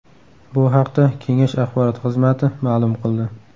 Bu haqda kengash axborot xizmati ma’lum qildi .